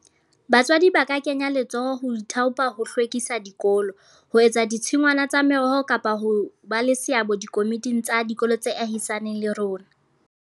Batswadi ba ka kenya letsoho ho ithaopa ho hlwekisa dikolo, ho etsa ditshingwana tsa meroho kapa ho ba le seabo dikomiting tsa dikolo tse ahisaneng le rona.